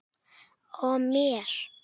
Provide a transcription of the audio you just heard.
Og mér.